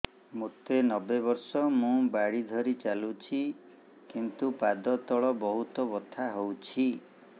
ମୋତେ ନବେ ବର୍ଷ ମୁ ବାଡ଼ି ଧରି ଚାଲୁଚି କିନ୍ତୁ ପାଦ ତଳ ବହୁତ ବଥା ହଉଛି